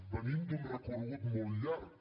venim d’un recorregut molt llarg